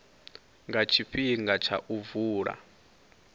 nga tshifhinga tsha u vula